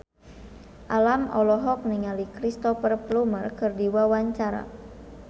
Alam olohok ningali Cristhoper Plumer keur diwawancara